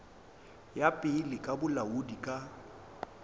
ya pele ya bolaodi ka